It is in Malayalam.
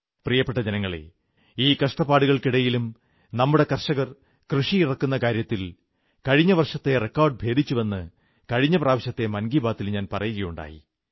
പ്രിയപ്പെട്ട ജനങ്ങളേ ഈ കഷ്ടപ്പാടുകൾക്കിടയിലും നമ്മുടെ കർഷകർ കൃഷിയിറക്കുന്ന കാര്യത്തിൽ കഴിഞ്ഞവർഷത്തെ റിക്കാഡ് ഭേദിച്ചുവെന്ന് കഴിഞ്ഞ പ്രാവശ്യത്തെ മൻ കീ ബാത്തിൽ ഞാൻ പറയുകയുണ്ടായി